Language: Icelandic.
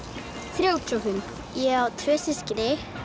þrjátíu og fimm ég á tvö systkini